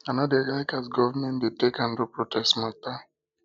i no dey like as government dey take handle protest mata